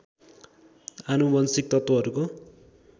आनुवंशिक तत्त्वहरूको